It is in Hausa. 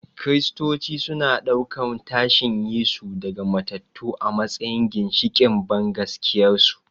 Kiristoci suna ɗaukan tashin Yesu daga matattu a matsayin ginshiƙin bangaskiyarsu.